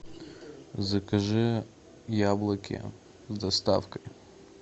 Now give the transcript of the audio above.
закажи яблоки с доставкой